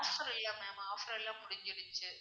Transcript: offer இல்ல ma'am offer எல்லாம் முடிஞ்சிடுச்சு.